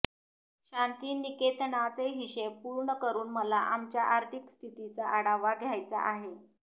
शांतिनिकेतनाचे हिशेब पूर्ण करून मला आमच्या आर्थिक स्थितीचा आढावा घ्यायचा आहे